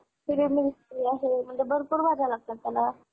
हम्म बरोबर आहे. आजूबाजूला एक नदी बी जातेय. त्यामुळं का?